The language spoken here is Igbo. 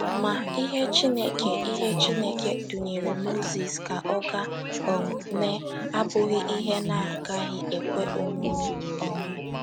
Ma, ihe Chineke ihe Chineke dunyere Mozis ka ọ gaa um mee abụghị ihe na - agaghị ekwe omume. um